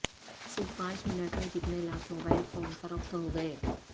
صرف پانچ منٹ میں کتنے لاکھ موبائل فون فروخت ہو گئے